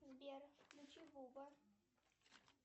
сбер включи буба